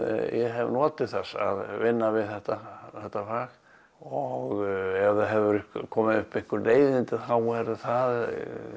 hef notið þess að vinna við þetta þetta fag og ef það hafa komið upp einhver leiðindi þá er það